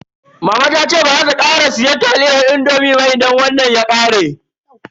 Mama ta ce baza ta sake siyan taliyar indomi ba idan wannan ya ƙare.